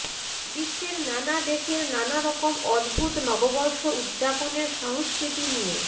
বিশ্বের নানা দেশের নানা রকম অদ্ভুত নববর্ষ উদযাপনের সংস্কৃতি নিয়ে